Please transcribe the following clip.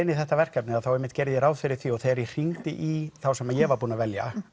í þetta verkefni þá gerði ég ráð fyrir því og þegar ég hringdi í þá sem ég var búinn að velja